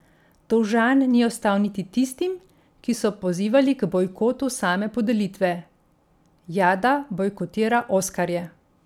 Dolžan ni ostal niti tistim, ki so pozivali k bojkotu same podelitve: 'Jada bojkotira oskarje ...